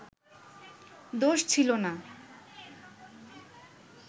দোষ ছিলো না